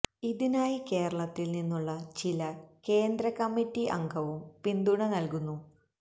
ഇതിനായി കേരളത്തില് നിന്നുള്ള ചില കേന്ദ്ര കമ്മിറ്റി അംഗവും പിന്തുണ നല്കുന്നു